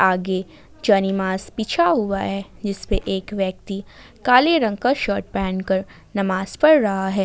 आगे बिछा हुआ है जिसपे एक व्यक्ति काले रंग का शर्ट पहनकर नमाज पढ़ रहा है।